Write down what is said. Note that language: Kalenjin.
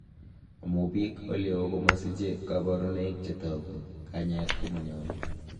Amun biik oleo komosiche koborunoik chetogu, kanyaet komonyolu.